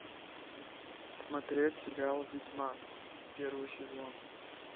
смотреть сериал ведьмак первый сезон